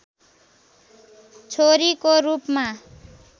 छोरीको रूपमा